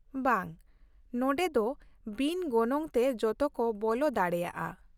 -ᱵᱟᱝ, ᱱᱚᱸᱰᱮ ᱫᱚ ᱵᱤᱱ ᱜᱚᱱᱚᱝ ᱛᱮ ᱡᱚᱛᱚ ᱠᱚ ᱵᱚᱞᱚ ᱫᱟᱲᱮᱭᱟᱜᱼᱟ ᱾